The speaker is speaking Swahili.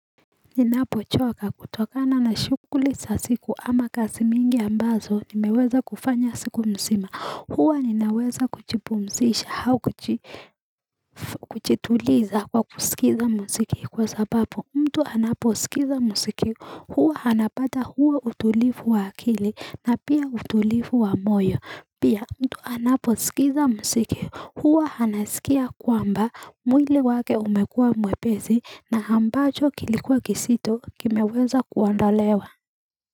Ninapochoka kutokana na shukuli sasiku ama kasi mingi ambazo nimeweza kufanya siku msima huwa ninaweza kuchipumzisha hao kuchituliza kwa kusikiza msiki kwa sabapo mtu anaposikiza msiki huwa hanapata huwa utulifu wa akili na pia utulifu wa moyo pia mtu anapo sikiza msiki huwa hanasikia kwamba mwili wake umekua mwepezi na ambacho kilikuwa kisito kia meweza kuanda lewa.